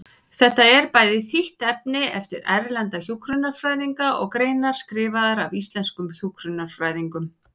Þetta er bæði þýtt efni eftir erlenda hjúkrunarfræðinga og greinar skrifaðar af íslenskum hjúkrunarfræðingum.